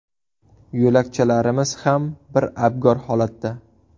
Yo‘lakchalarimiz ham bir abgor holatda.